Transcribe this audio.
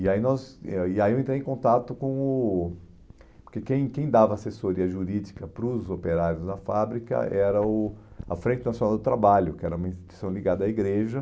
E aí nós e ah e aí eu entrei em contato com o... Porque quem quem dava assessoria jurídica para os operários na fábrica era o a Frente Nacional do Trabalho, que era uma instituição ligada à igreja.